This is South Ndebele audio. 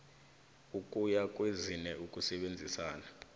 ukuya kwezine ukusebenzana